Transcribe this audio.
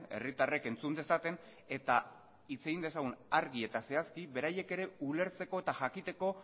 herritarrek entzun dezaten eta hitz egin dezagun argi eta zehazki beraiek ere ulertzeko eta jakiteko